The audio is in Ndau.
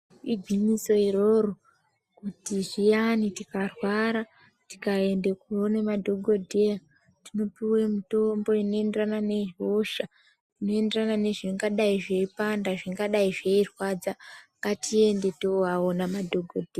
Igwinyiso iroro kuti zviyani tikarwara tikaenda koone madhokodheya tinopuwe mitombo inoyenderana nehosha, inotenderana nezvingadai zveipanda zvingadai zveirwadza. Ngatiende tovaona madhokodheya.